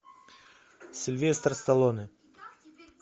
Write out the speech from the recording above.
сильвестр сталлоне